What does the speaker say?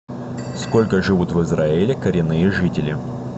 сколько живут в израиле коренные жители